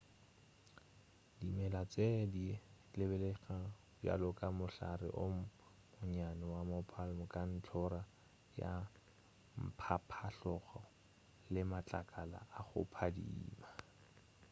dimela tše di lebelelega bjalo ka mohlare o monnyane wa mo palm ka ntlhora ya mphaphahlogo le matlakala a go phadimela